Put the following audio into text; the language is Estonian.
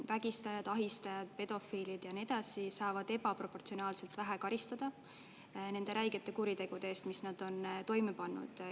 Vägistajad, ahistajad, pedofiilid ja nii edasi saavad ebaproportsionaalselt vähe karistada nende räigete kuritegude eest, mis nad on toime pannud.